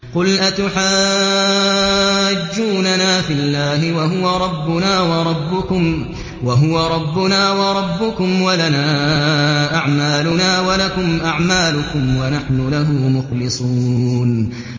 قُلْ أَتُحَاجُّونَنَا فِي اللَّهِ وَهُوَ رَبُّنَا وَرَبُّكُمْ وَلَنَا أَعْمَالُنَا وَلَكُمْ أَعْمَالُكُمْ وَنَحْنُ لَهُ مُخْلِصُونَ